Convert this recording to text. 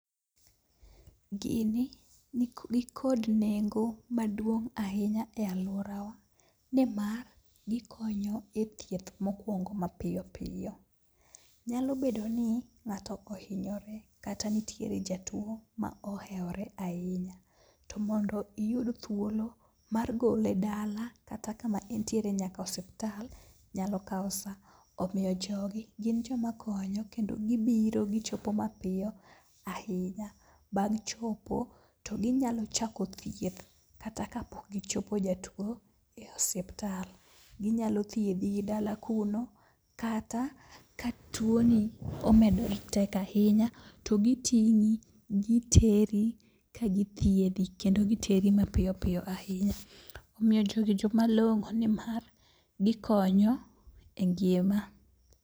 Gini nikod nengo maduong' ahinya e alworawa, nimar gikonyo e thieth mokwongo mapiyo piyo. Nyalo bedo ni ng'ato ohinyore kata nitie jatuo mohewore ahinya, to mondo iyud thuolo mar gole dala kata kama entiere nyaka osuptal nyalo kawo sa. Omiyo jogi gin joma konyo kendo gibiro gichopo mapiyo ahinya, bang' chopo to ginyalo chako thieth kata kapok gichopo jatuo e osiptal. Ginyalo thiedhi gi dala kuno, kata ka tuo ni omedoretek ahinya to giting'i giteri ka githiedhi. Kendo giteri ma piyo piyo ahinya. Omiyo jogi joma long'o nimar gikonyo e ngima.